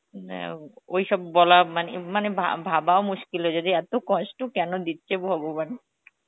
ওই সব বলা মানে মানে ভাবাও মুশকিল হয়ে যায় যদি এত কষ্ট কেন দিচ্ছে ভগবান